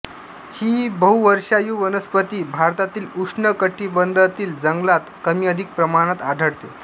ही बहुवर्षायू वनस्पती भारतातील उष्ण कटिबंधातील जंगलात कमीअधिक प्रमाणात आढळते